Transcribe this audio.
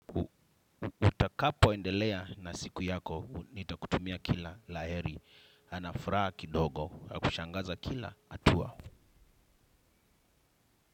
Utakapo endelea na siku yako, nitakutumia kila la heri, na furaha kidogo, kushangaza kila, hatua.